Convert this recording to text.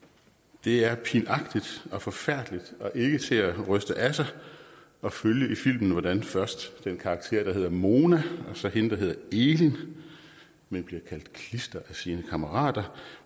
det er pinagtigt og forfærdeligt og ikke til at ryste af sig at følge i filmen hvordan først den karakter der hedder mona og så hende der hedder elin men bliver kaldt klister af sine kammerater